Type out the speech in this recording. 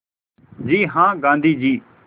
जी हाँ गाँधी जी